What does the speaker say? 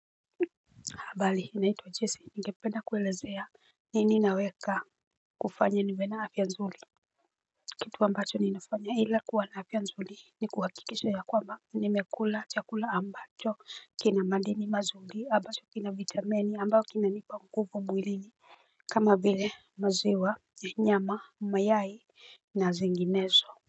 Habari naitwa Jesse ningependa kuelezea nini naweka kufanya niwe na afya nzuri. Kitu ambacho ninafanya ila kuwa na afya nzuri ni kuhakikisha ya kwamba nimekula chakula ambacho kina madini mazuri ambacho kina vitamini ambao kinanipa nguvu mwilini. Kama vile maziwa nyama mayai na zinginezo.